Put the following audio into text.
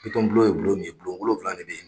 Bitɔn bulon ye bulon min ye, bulon wolonwula de be yen.